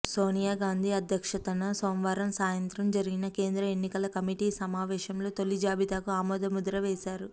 సోనియా గాంధీ అధ్యక్షతన సోమవారం సాయంత్రం జరిగిన కేంద్ర ఎన్నికల కమిటీ సమావేశంలో తొలి జాబితాకు ఆమోద ముద్ర వేశారు